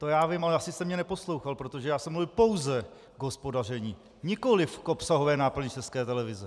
To já vím, ale asi jste mě neposlouchal, protože já jsem mluvil pouze o hospodaření, nikoliv k obsahové náplni České televize.